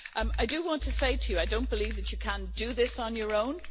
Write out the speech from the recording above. I do want to say to you that I don't believe that you can do this on your own.